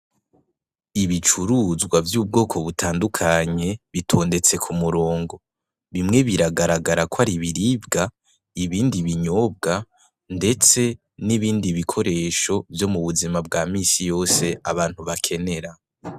Ibicuruzwa vy'ubwoko butandukanye bitondtse kumurongo bimwe biragaragara kwaribiribwa ibindi ibinyobwa ndetse n'ibindi bikoresho vyomubuzima bwamisi yose abantu bakenera.